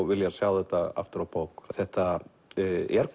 viljað sjá þetta aftur á bók þetta er